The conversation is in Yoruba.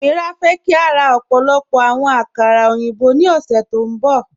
Amíírà fẹ́ kí a rá ọ̀pọ̀lọ̀pọ̀ àwọn àkàrà oyinbọ̀ ní ọ̀ṣẹ́ tó nbọ